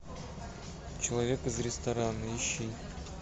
человек из ресторана ищи